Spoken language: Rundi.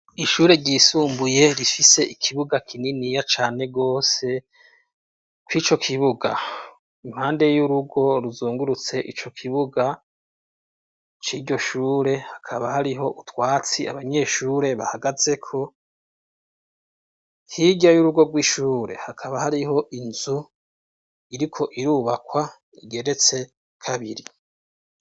Ishure ryisumbuye rifise ikibuga kininiya cane gose, kw ico kibuga impande y'urugo ruzungurutse ico kibuga c'iryo shure hakaba hariho utwatsi abanyeshure bahagazeko, hirya y'urugo rw'ishure hakaba hariho inzu iriko irubakwa igeretse kabiri.